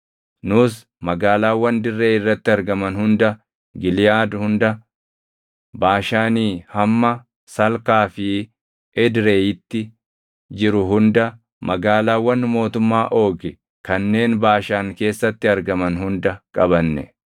Nus magaalaawwan dirree irratti argaman hunda, Giliʼaad hunda, Baashaanii hamma Salkaa fi Edreyiitti jiru hunda, magaalaawwan mootummaa Oogi kanneen Baashaan keessatti argaman hunda qabanne.